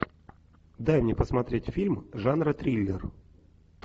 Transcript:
дай мне посмотреть фильм жанра триллер